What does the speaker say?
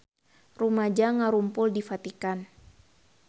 Rumaja ngarumpul di Vatikan